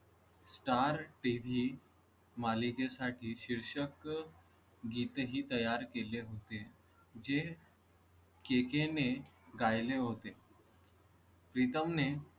starTV मालिके साठी शीर्षक गीत ही तयार केले होते. जे के के ने गायले होते. प्रीतम ने